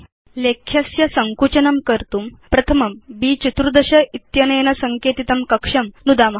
लेख्यस्य सङ्कुचनं कर्तुं येन तद् विन्यस्तं भवेत् प्रथमं ब्14 इत्यनेन सङ्केतितं कक्षं नुदाम